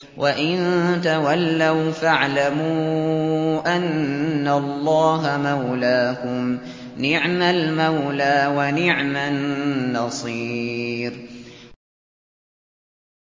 وَإِن تَوَلَّوْا فَاعْلَمُوا أَنَّ اللَّهَ مَوْلَاكُمْ ۚ نِعْمَ الْمَوْلَىٰ وَنِعْمَ النَّصِيرُ